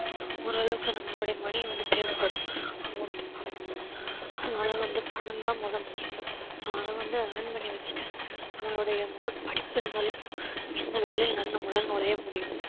ஓரளவுக்கு நம்மளுடைய money வந்து தேவைப்படும் amount பணம் அதனால வந்து பணம்தான் முதல் முக்கியம் so அதை வந்து earn பண்ணி வெச்சுட்டு நம்மளுடைய முதல் படிப்பு இருந்தாலே போதும் எந்த வேலைலனாலும் நம்மளால நுழைய முடியும்